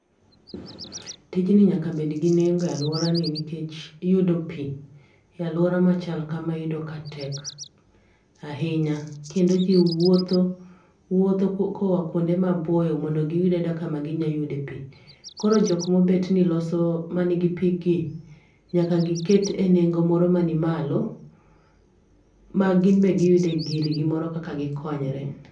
Tijni nyaka bed gi nengo e alworani nikech iyudo pi, e alwora ma chalo kama iyudo ka tek ahinya, kendo ji wuotho wuotho koa kuonde maboyo mondo giyud ayuda kama ginyayude pi. Koro jok mobet ni loso ma nigi pi gi, nyaka giket e nengo moro ma nimalo ma gin be giyude girgi moro kaka gikonyre.